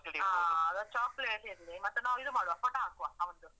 ಹ, ಹಾಗಾದ್ರೆ chocolate ಇರ್ಲೀ. ಮತ್ತೆ ನಾವ್ ಇದು ಮಾಡುವ, photo ಹಾಕುವ, ಅವ್ನ್ದು.